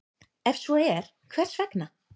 Ef svo er, hvers vegna?